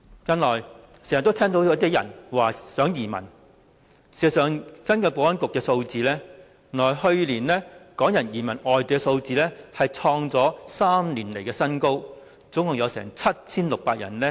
近來經常聽到有些人說想移民，根據保安局的數字，去年港人移民外地的數字創下3年來的新高，共有 7,600 人。